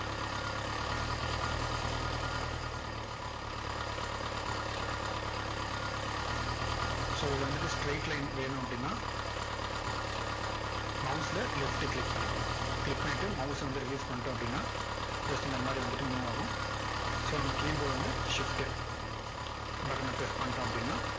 so இதுல வந்துட்டு straight line வேணும் அப்படின்னா mouse ல left click பண்ணிக்கோங்க click பண்ணிட்டு mouse அ வந்து release பண்ணிட்டோம் அப்படின்னா just இந்த மாதிரி வந்துட்டு move ஆகும் so நம்ம keyboard ல வந்து shift button னை press பண்ணிட்டோம் அப்படின்னா,